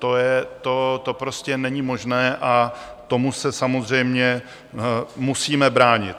To prostě není možné a tomu se samozřejmě musíme bránit.